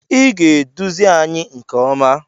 Ị ga-eduzi anyị nke ọma!